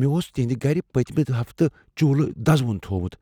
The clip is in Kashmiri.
مےٚ اوس تِہنٛدِ گَرِ پٔتمہِ ہفتہٕ چولہٕ دزوُن تھوومُت۔